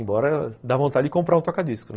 Embora dá vontade de comprar um toca-discos, né.